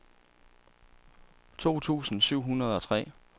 to tusind syv hundrede og tre